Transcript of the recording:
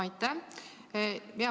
Aitäh!